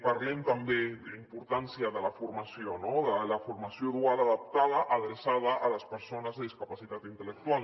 parlem també de la importància de la formació no de la formació dual adaptada adreçada a les persones amb discapacitat intel·lectual